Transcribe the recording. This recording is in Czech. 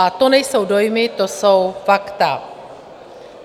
A to nejsou dojmy, to jsou fakta.